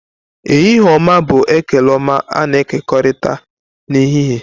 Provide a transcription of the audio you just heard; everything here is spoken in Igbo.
Ehihie-oma bụ ekele ọma a-na ekokorita na ehihie.